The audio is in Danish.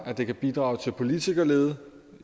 det kan bidrage til politikerlede